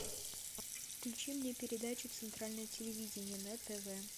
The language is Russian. включи мне передачу центральное телевидение на тв